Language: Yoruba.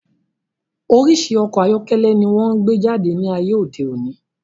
Orísirísi ọkọ̀ ayọ́kẹ́lẹ́ ni wón gbé jáde ní ayé òde òní